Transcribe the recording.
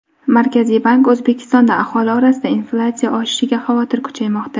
Markaziy bank: O‘zbekistonda aholi orasida inflyatsiya oshishidan xavotir kuchaymoqda.